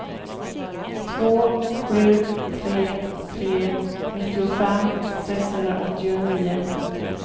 två sju tre tre nittiofem sexhundraåttionio